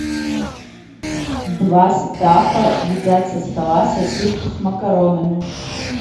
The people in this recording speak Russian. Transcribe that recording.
два стаффа едят со стола сосиску с макаронами